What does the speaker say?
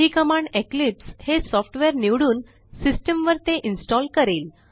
ही command Eclipse हे software निवडून system वर ते इन्स्टॉल करेल